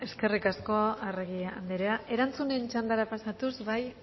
eskerrik asko arregi andrea erantzunen txandara pasatuz bai